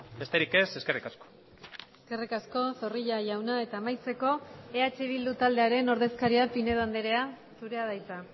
besterik ez eskerrik asko eskerrik asko zorrilla jauna eta amaitzeko eh bildu taldearen ordezkaria pinedo andrea zurea da hitza